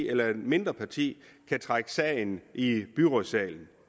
eller et mindre parti kan trække sagen i byrådssalen